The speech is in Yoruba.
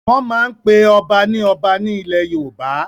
Wọ́n máa n pe ọba ní Ọba ní ilẹ̀ yoòbá